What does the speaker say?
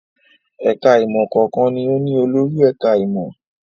Ẹ̀ka-ìmọ̀ kọ̀ọ̀kan ni ó ní olórí ẹ̀ka-ìmọ̀.